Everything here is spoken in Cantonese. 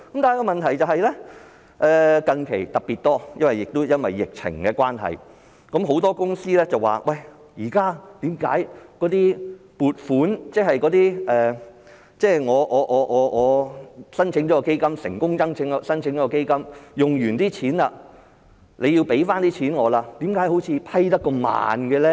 但是，問題是最近特別多——亦因為疫情的關係——很多公司便問為何現時的撥款申請，即是我成功申請基金，我所花的錢政府要撥回給我，為何審批那麼慢呢？